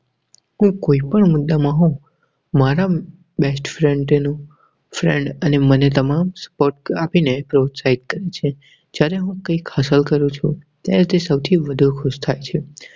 હું કોઈ પણ મુદા હોઉં માંરા best friend નું અને મને તમામ sports આપી ને પ્રોત્સાહન આપે છે. જયારે હું કૈક હાસિલ કરું છું ત્યારે તે સૌથી વધુ ખુશ થાય છે.